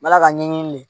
N b'ala ka ɲɛɲini de